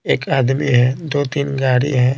एक आदमी है दो-तीन गाड़ी है।